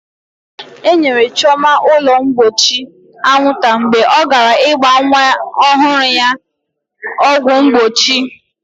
E nyere Chioma ụlọ mgbochi anwụnta mgbe ọ gara ịgba nwa ọhụrụ ya ọgwụ mgbochi.